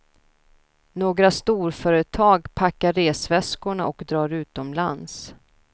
Några storföretag packar resväskorna och drar utomlands.